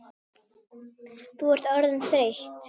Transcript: Þú ert orðin þreytt.